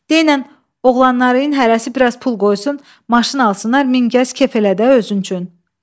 Denən oğlanların hərəsi biraz pul qoysun, maşın alsınlar, min gəz kef elə də özün üçün.